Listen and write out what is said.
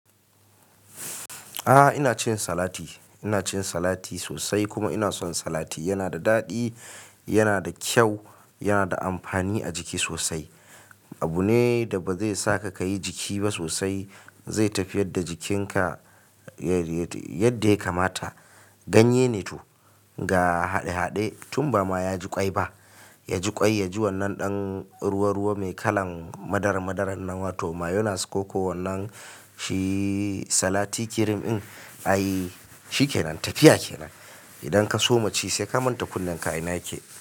A'a ina cin salati, ina cin salati sosai kuma ina son salati. Yana da daɗi, yana da kyau, yana da amfani a jiki sosai. Abu ne da ba zai saka kayi jiki ba sosai, zai tafiyar da jikinka yadda ya kamata. Ganye ne toh ga haɗe-haɗe tun ba ma ya ji ƙwai ba, ya ji ƙwai, ya ji wannan ɗan ruwa-ruwa mai kalan madara madaran nan wato mayonnaise ko wannan shi salati cream in ai shi ke nan tafiya kenan. Idan ka soma ci sai ka manta kullum ka ina yake.